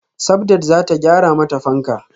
Sabdat zata gyara mata fanka